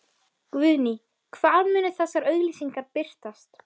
Guðný: Hvar munu þessar auglýsingar birtast?